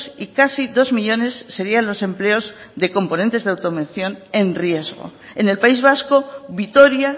y casi dos millónes serían los empleos de componentes de automoción en riesgo en el país vasco vitoria